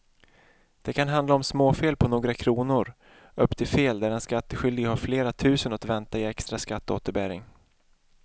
Det kan handla om småfel på några kronor upp till fel där den skattskyldige har flera tusen att vänta i extra skatteåterbäring.